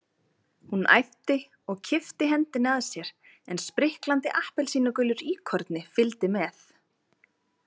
Hún æpti og kippti hendinni að sér en spriklandi appelsínugulur íkorni fylgdi með.